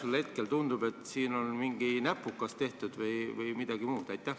Praegu tundub, et siin on mingi näpukas tehtud või midagi muud viga.